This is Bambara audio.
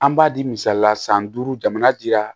An b'a di misali la san duuru jamana dira